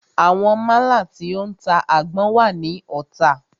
Àwọn málà tí o ń ta àgbọn wà ní Ota.